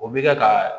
O bɛ kɛ ka